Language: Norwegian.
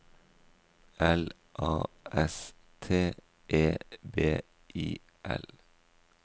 L A S T E B I L